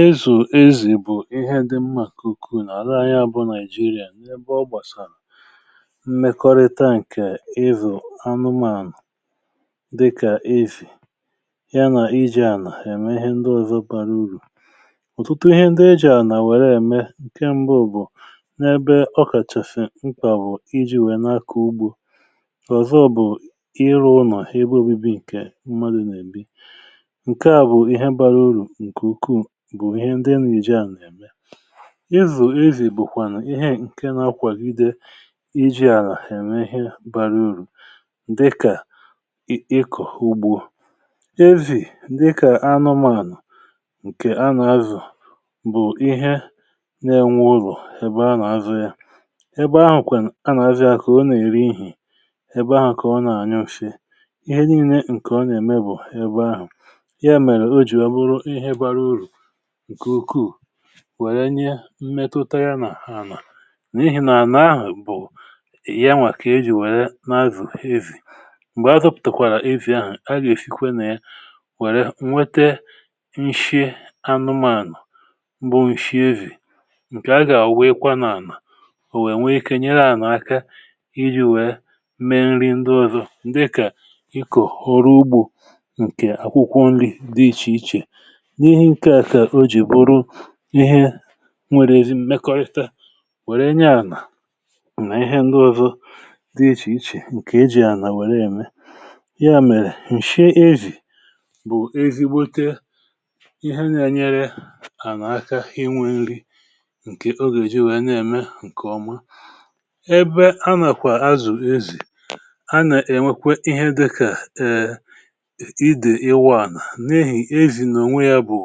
ezù ezù bụ̀ ihe dị mmà kuku nà àra anyị abụ nigeria n’ebe ọ gbàsàrà mmekọrịta ǹkè evò anụmanụ̀ dịkà evì ya nà iji à nà ème ihe ndị ọ̀zọ bara urù ọ̀tụtụ ihe ndị ejì à nà wère ème ǹke mbụ bụ̀ n’ebe ọ kàchèfè ǹkè à bụ̀ iji̇ wèe n’akà ugbȯ ọ̀zọ bụ̀ ịrụ̇ ụnọ̀ ha igbe obibi ǹkè mmadụ̇ nà-èbi izù ezì bụ̀kwànụ̀ ihe ǹke na-akwagide iji̇ àlà ème ihe bara urù dịkà ikọ̀ ugbo ezì dịkà anụmȧnụ̀ ǹkè anà azụ̀ bụ̀ ihe na-enwe urù ebe anà azụ ya ebe ahụ̀ kwè anà azụ ya kà ọ nà-ère ihì ebe ahụ̀ kà ọ na-anyụ̀fịa ihe niilė ǹkè ọ nà-ème bụ̀ ebe ahụ̀ wèrè nye mmetụtara nà n’ihi nà ahụ̀ bụ̀ ya nwà kà ejì nwère n’azụ̀ ezi ǹgbè a zọpụ̀tàrà ezi ahụ̀ a gà èfikwa nà ya nwère nwete nshie anụmȧànụ̀ bụ ǹshie wìrì ǹkè a gà ùweekwa nà ànà ò nwèe nwee ikė nyere ànà aka iji̇ wèe mee nri ndị ọ̇zọ̇ ǹdị kà ikù ọrụ ugbȯ ǹkè akwụkwọ nri dị ichè ichè ihe nwèrè ezi mmekọrịta wère nye ànà nà ihe ǹdị ọzọ dị ichè ichè ǹkè e jì ànà wère ème ya mèrè ǹshị ezì bụ̀ ezigbote ihe na-anyere ànà aka inwė nri ǹkè oge jì wee na-ème ǹkè ọma ebe anàkwà azụ̀ ezì anà-ènwekwe ihe dịkà ee idè iwù ànà n’ehì ezi n’ònwe yȧ bụ̀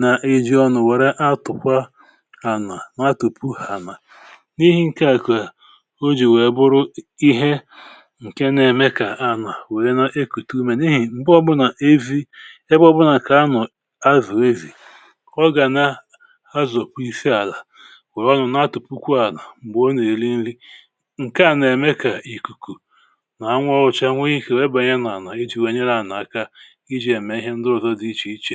na-eji̇ ọnụ̇ wère atụ̀kwa ànà ma atụ̀pù ànà n’ihi ǹkè àkụ̀ à o ji wèe bụrụ ihe ǹke na-eme kà anà wèe na-ekùtù umè n’ihì m̀bụọ gbụ̇ nà evi̇ e gbụgbụ nà kà anọ̀ azụ̀ ezì ọ gà na azụ̀ kpó ife àlà wèe ọnụ̇ na-atụ̀pù kwu ànà m̀gbè ọ nà-èri nri ǹke à na-emekà ìkùkù na-anwȧ ọ̇hụ̇chȧ nweghì ike wèe bànyẹ nà ànà iji̇ wèe nyere ànà aka ǹ